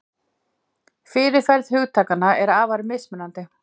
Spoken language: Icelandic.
Fyrirferð hugtakanna er afar mismunandi.